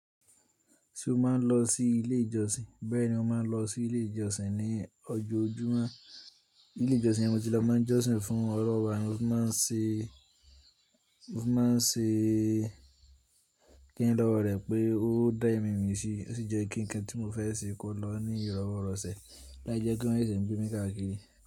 Ṣé o máa ń lọ sí ilé ìjọsìn? Bẹ́ẹ̀ni, mo máa ń lọ sí ilé ìjọsìn ní ojó ojúmọ́. Ilé ìjọsìn yẹn mo ti lọ, máa ń jọ́sìn fún Ọlọ́run, mo fí máa ń ṣe, mo fí máa ń ṣe kí ń lọ́wọ́ rẹ̀ pé ó dá ẹ̀mí mi sí, ó sì jẹ́ kí ń nnkan tí mo fẹ́ ṣe kó lọ ní ìrọ́wọ rọ̀ sè, láì jẹ́ kí wọ́n sì ń gbé mi káàkiri.